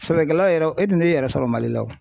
Sɛbɛkɛla yɛrɛ e dun t'e yɛrɛ sɔrɔ Mali la o,